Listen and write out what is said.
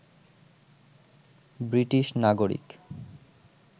British নাগরিক